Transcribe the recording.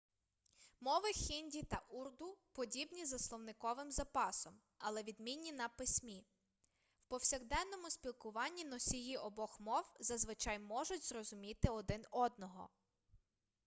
мови хінді та урду подібні за словниковим запасом але відмінні на письмі в повсякденному спілкуванні носії обох мов зазвичай можуть зрозуміти один одного